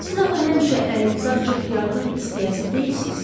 Siz axı həmişə əlinizi açıb yardım istəyəsi deyilsiz?